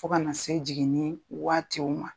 Fo ka na se jiginni waatiw ma.